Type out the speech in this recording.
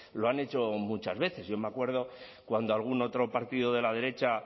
lo han hecho muchas veces yo me acuerdo cuando algún otro partido de la derecha